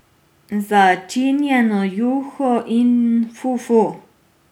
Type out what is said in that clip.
Začinjeno juho in fufu.